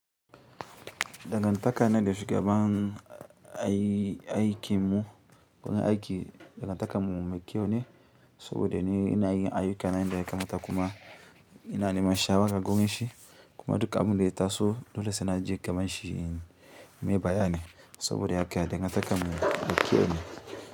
Dangantaka na da shugaban aikin mu, wurin aiki dangantakan mu mai kyau ne, saboda ni ina yin aiyukana yadda ya kamata kuma ina neman shawara gurin shi, kuma duk abin da ya taso dole sai na je gabanshi nayi bayani, saboda haka dangantakar mu.